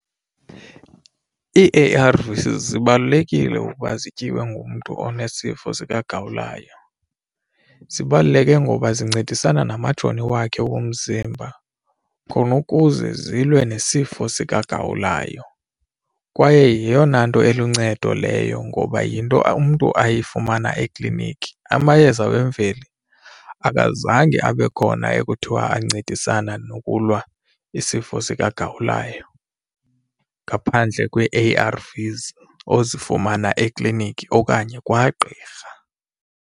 Ii-A_R_Vs zibalulekile ukuba zityiwe ngumntu onesifo sikagawulayo, zibaluleke ngoba zincedisana namajoni wakhe omzimba khona ukuze zilwe nesifo sikagawulayo kwaye yeyona nto eluncedo leyo ngoba yinto umntu ayifumana ekliniki. Amayeza wemveli akazange abe khona ekuthiwa ancedisana nokulwa isifo sikagawulayo ngaphandle kwee-A_R_Vs ozifumana ekliniki okanye kwagqirha.